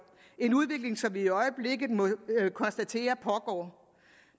en udvikling som vi i øjeblikket må konstatere pågår